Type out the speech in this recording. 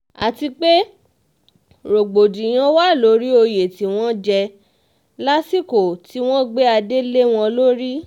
àti pé rògbòdìyàn wà lórí oyè tí wọ́n um jẹ́ lásìkò tí wọ́n gbé adé um lé wọn lórí